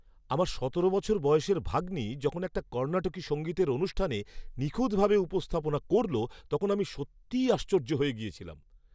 আমার সতেরো বছর বয়সের ভাগ্নি যখন একটা কর্ণাটকী সঙ্গীতের অনুষ্ঠানে নিখুঁতভাবে উপস্থাপনা করল, তখন আমি সত্যিই আশ্চর্য হয়ে গিয়েছিলাম!